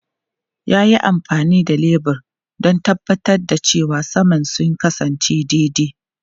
Ya yi amfani da lebur don tabbatar da cewa saman sun kasance daidai.